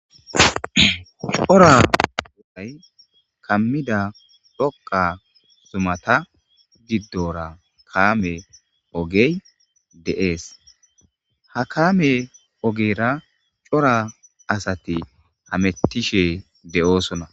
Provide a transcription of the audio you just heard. cora wolay kammida rokqa zumata giddora kaame ogey de7ees ha kaame ogera cora asati hamettishe de7oosona